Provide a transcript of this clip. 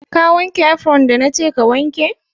Ka wanke "apron" da na ke ka wanke?